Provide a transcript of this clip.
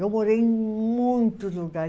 Eu morei em muitos lugares.